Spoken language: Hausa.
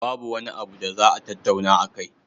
Babu wani abu da za a tattauna akai.